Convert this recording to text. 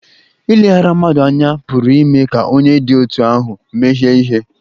Ileghara mmadụ anya pụrụ ime ka onye dị otú ahụ mehie ihe.